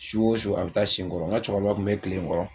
Su o su a bɛ taa si n kɔrɔ n ka cɛkɔrɔba tun bɛ tilen n kɔrɔ